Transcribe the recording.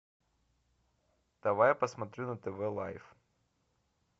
давай посмотрю на тв лайф